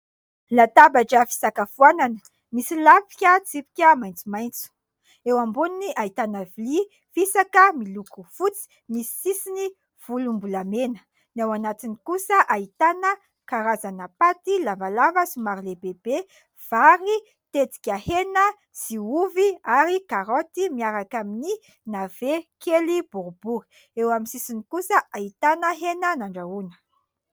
Latabatra fisakafoanana, misy lafika tsipika maitsomaitso. Eo amboniny ahitana vilia fisaka miloko fotsy, misy sisiny volom-bolamena. Ny ao anatiny kosa ahitana karazana "pates" lavalava somary lehibebe, vary, tetika hena sy ovy ary karaoty miaraka amin'ny nave kely boribory. Eo amin'ny sisiny kosa ahitana hena nandrahoana.